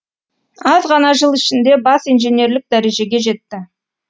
аз ғана жыл ішінде бас инженерлік дәрежеге жетті